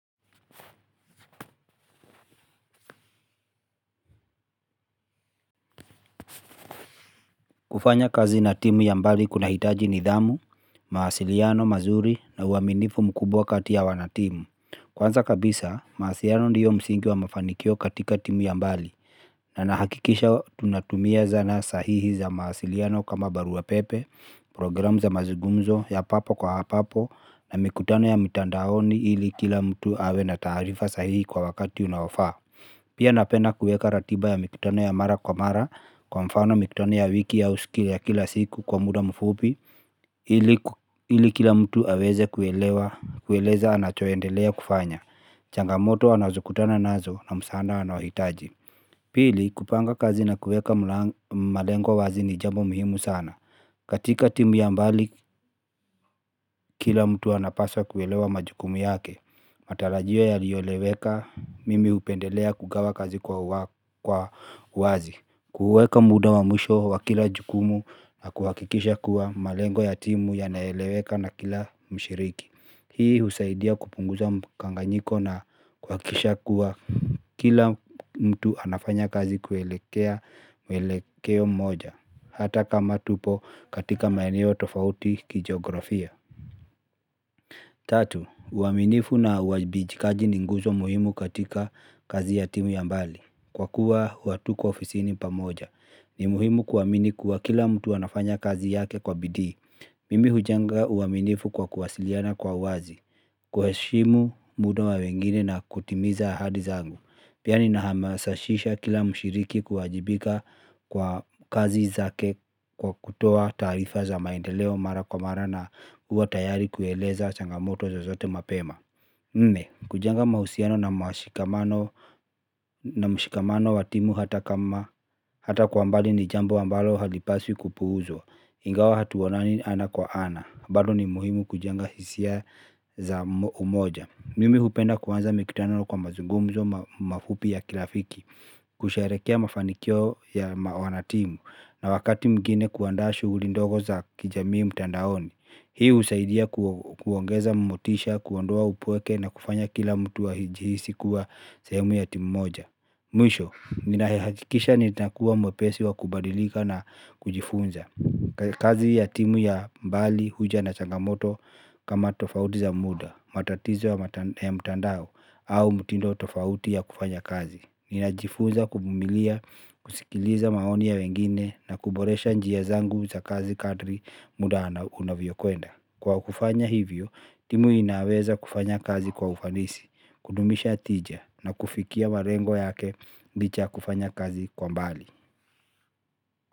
Kufanya kazi na timu ya mbali kunahitaji nidhamu, mawasiliano mazuri na uaminifu mkubwa kati ya wanatimu. Kwanza kabisa mawasiliano ndio msingi wa mafanikio katika timu ya mbali. Na nahakikisha tunatumia zana sahihi za mawasiliano kama barua pepe, programu za mazungumzo ya papo kwa papo na mikutano ya mitandaoni ili kila mtu awe na taarifa sahihi kwa wakati unaofaa. Pia napenda kueka ratiba ya mikutano ya mara kwa mara kwa mfano mikutano ya wiki au siku ya kila siku kwa muda mfupi ili ili kila mtu aweze kuelewa kueleza anachoendelea kufanya. Changamoto anazokutana nazo na msaada anaohitaji. Pili kupanga kazi na kueka malengo wazi ni jambo muhimu sana. Katika timu ya mbali kila mtu anapasa kuelewa majukumu yake. Matarajio yaliyoeleweka mimi hupendelea kugawa kazi kwa wazi. Kuuweka muda wa mwisho wa kila jukumu na kuhakikisha kuwa malengo ya timu yanaeleweka na kila mshiriki. Hii husaidia kupunguza mkanganyiko na kuhakikisha kuwa kila mtu anafanya kazi kuelekea maelekeo moja. Hata kama tupo katika maeneo tofauti kijiografia. Tatu, uaminifu na uwajibikaji ni nguzo muhimu katika kazi ya timu ya mbali. Kwa kuwa hatuko ofisini pamoja. Ni muhimu kuamini kuwa kila mtu anafanya kazi yake kwa bidii. Mimi hujenga uaminifu kwa kuwasiliana kwa wazi. Kuheshimu muda wa wengine na kutimiza ahadi zangu. Pia ninahamasisha kila mshiriki kuwajibika kwa kazi zake kwa kutoa taarifa za maendeleo mara kwa mara na kuwa tayari kueleza changamoto zozote mapema nne, kujenga mahusiano na mashikamano na mshikamano wa timu hata kama hata kwa mbali ni jambo ambalo halipaswi kupuuzwa. Ingawa hatuonani ana kwa ana, bado ni muhimu kujenga hisia za umoja. Mimi hupenda kuanza mikutano kwa mazungumzo mafupi ya kirafiki, kusherehekea mafanikio ya wanatimu na wakati mwingine kuandaa shughuli ndogo za kijamii mtandaoni. Hii husaidia kuongeza motisha, kuondoa upweke na kufanya kila mtu ajihisi kuwa sehemu ya timu moja. Mwisho, ninahakikisha nitakuwa mwepesi wa kubadilika na kujifunza. Kazi ya timu ya mbali huja na changamoto kama tofauti za muda, matatizo ya mtandao au mtindo tofauti ya kufanya kazi. Ninajifuza kuvumilia, kusikiliza maoni ya wengine na kuboresha njia zangu za kazi kadri muda na unavyokwenda. Kwa kufanya hivyo, timu inaweza kufanya kazi kwa ufanisi, kudumisha tija na kufikia malengo yake licha ya kufanya kazi kwa mbali.